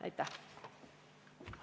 Aitäh!